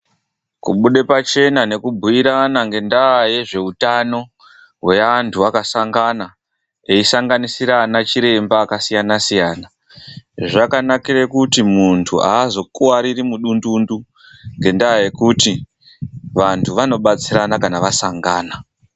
KUBUDE PACHENA NEKUBUYIRANA NGENDAA YEZVEUTANO HWEANTU AKASANGANA EISANGANISIRA ANA CHIREMBA AKASIYANA SIYANA ZVAKANAKIRA KUTI MUNHU AZOKUWARIRI MUDUNDUNDU NGENDAA YEKUTI VANTU WANOBATSIRANA KANA WASANGANA.